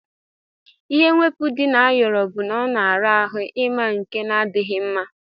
Ihe mwepu di na ayọrọ bu na ọna ara ahụ ima nke na adighi mma.